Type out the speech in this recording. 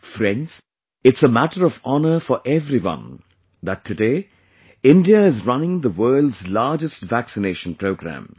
Friends, it's a matter of honour for everyone that today, India is running the world's largest vaccination programme